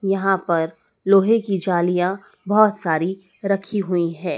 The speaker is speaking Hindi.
यहां पर लोहे की जालियां बहोत सारी रखी हुई है।